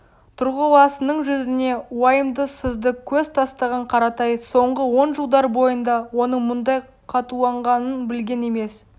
тұрғыласының жүзіне уайымды сызды көз тастаған қаратай соңғы он жылдар бойында оның бұндай қатуланғанын білген емес